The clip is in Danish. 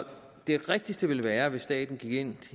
det rigtigste ville være hvis staten gik ind